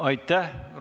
Aitäh!